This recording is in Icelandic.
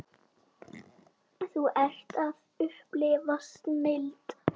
Þú ert að upplifa snilld.